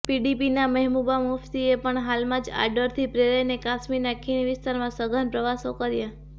પીડીપીના મહેબુબા મુફ્તીએ પણ હાલમાં જ આ ડરથી પ્રેરાઈને કાશ્મીરના ખીણ વિસ્તારમાં સઘન પ્રવાસો કર્યા